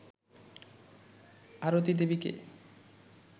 আরতি দেবীকে